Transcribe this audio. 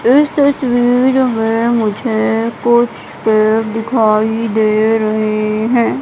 मुझे कुछ पेड़ दिखाई दे रहें हैं।